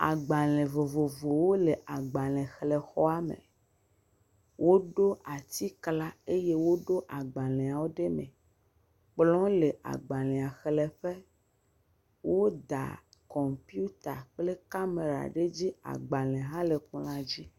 Agbalẽ vovovowo le agbalẽxlẽxɔa me. woɖo atiklã eye woɖo agbalẽawo ɖe me. kplɔ̃ le agbalẽa xlẽƒe. woda kɔmpiuta kple kamera ɖe edzi. Agbalẽ hã le kplɔ̃a dzi.